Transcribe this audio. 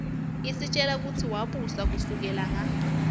isitjela kutsi wabusa kusukela nga